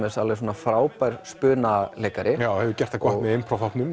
alveg frábær spunaleikari hefur gert það gott með